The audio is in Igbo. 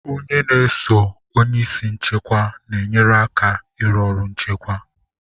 Onye n'eso onye isi nchịkwa na enye aka ịrụ ọrụ nchịkwa